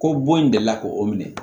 Ko bon in delila k'o minɛ